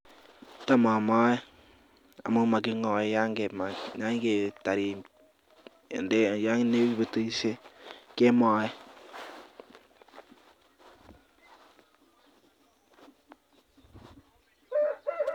Tab amor, amun mokingoe yon tomo imaa. Yan keitar betusiet kemooe.